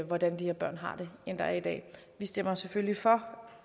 hvordan de her børn har det end der er i dag vi stemmer selvfølgelig for